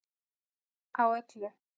Á öllu